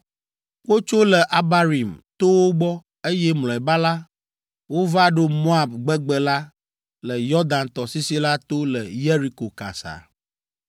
Wotso le Abarim towo gbɔ, eye mlɔeba la, wova ɖo Moab gbegbe la le Yɔdan tɔsisi la to le Yeriko kasa.